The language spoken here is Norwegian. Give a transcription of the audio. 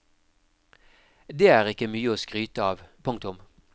Det er ikke mye å skryte av. punktum